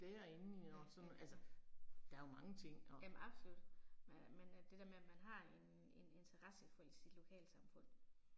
Ja ja ja. Jamen absolut men øh det der med at man har en en interesse for øh sit lokalsamfund